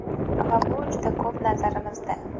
Va bu juda ko‘p, nazarimizda.